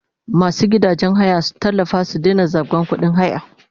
Masu gidajen haya su tallafa su daina zabga kudin haya!